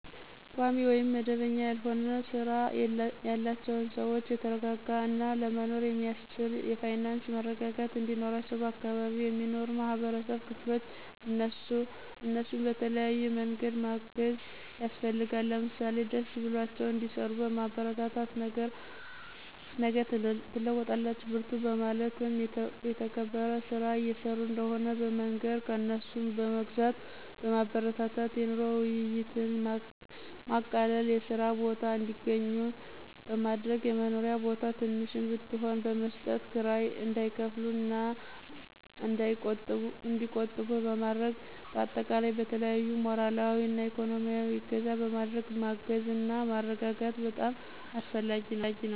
ቋሚ ውይም መደበኛ ያልሆነ ስራ ያላቸውን ሰዎች የተረጋጋ እና ለመኖር የሚአስችል የፋይናንስ መረጋጋት እንዲኖራቸው በአካባቢው የሚኖሩ የማህበረሰብ ክፍሎች እነሱን በተለያዬ መንገድ ማገዝ ያስፈልጋል። ለምሳሌ ደስ ብሏቸው እንዲሰሩ በማበረታታት ነገ ትለወጣላቹ በርቱ በማለት የተከበረ ስራ እየሰሩ እንደሆነ በመንገር፣ ከእነሱ በመግዛት ማበረታታት፣ የኑሮ ውይይትን በማቃለል የስራ ቦታ እንዲአገኙ በማድረግ፣ የመኖሪያ ቦታ ትንሽም ብትሆን በመስጠት ክራይ እንዳይከፍሉ እና እንዲቆጥቡ በማድረግ በአጠቃላይ በተለያዪ ሞራላዊ እና እኮኖሚአዊ እገዛ በማድረግ ማገዝና ማረጋጋት በጣም አስፈላጊ ነው።